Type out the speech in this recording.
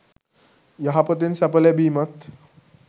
යහපතෙන් සැප ලැබීමත්